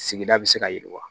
Sigida bɛ se ka yiriwa